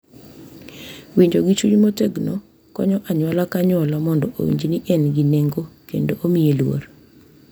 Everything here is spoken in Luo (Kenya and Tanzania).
Winjo gi chuny motegno konyo anyuola ka anyuola mondo owinjo ni en gi nengo kendo omiye luor,